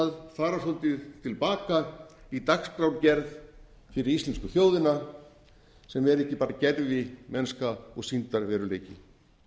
að fara svolítið til baka í dagskrárgerð fyrir íslensku þjóðina sem er ekki bara gervimennska og sýndarveruleiki